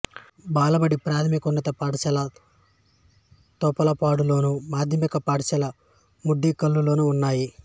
బాలబడి ప్రాథమికోన్నత పాఠశాల తొంపలపాడులోను మాధ్యమిక పాఠశాల మొండెంఖల్లులోను ఉన్నాయి